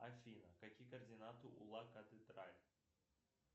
афина какие координаты